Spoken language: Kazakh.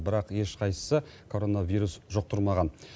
бірақ ешқайсысы коронавирус жұқтырмаған